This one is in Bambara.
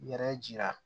Yɛrɛ jira